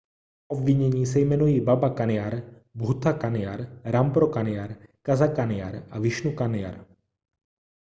obvinění se jmenují baba kanjar bhutha kanjar rampro kanjar gaza kanjar a vishnu kanjar